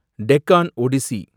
Deccan Odissi